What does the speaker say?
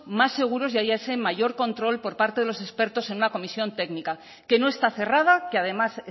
más seguros y haya ese mayor control por parte de los expertos en una comisión técnica que no está cerrada que además